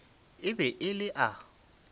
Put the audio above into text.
e be e le a